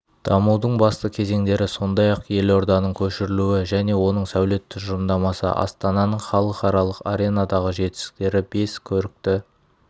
дамудың басты кезеңдері сондай-ақ елорданың көшірілуі және оның сәулет тұжырымдамасы астананың халықаралық аренадағы жетістіктері бес көрікті